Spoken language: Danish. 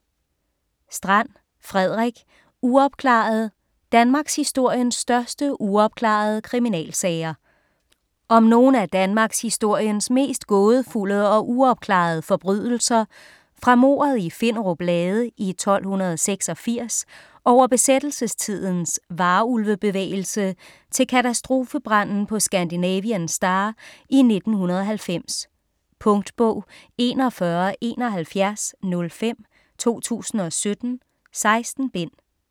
Strand, Frederik: Uopklaret: danmarkshistoriens største uopklarede kriminalsager Om nogle af danmarkshistoriens mest gådefulde og uopklarede forbrydelser fra mordet i Finderup Lade i 1286 over besættelsestidens Varulve-bevægelse til katastrofebranden på Scandinavian Star i 1990. Punktbog 417105 2017. 16 bind.